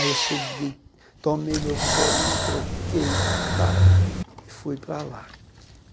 Aí eu cheguei, tomei meu banho, me troquei tal e fui para lá.